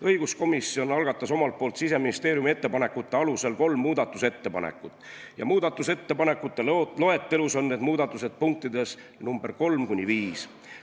Õiguskomisjon algatas omalt poolt Siseministeeriumi ettepanekute alusel kolm muudatusettepanekut ja muudatusettepanekute loetelus on need punktid nr 3–5.